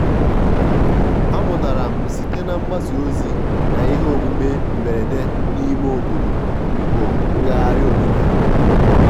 amụtara m site na mgbasa ozi na ihe omume mberede n'ime obodo bụ ngagharị omenala.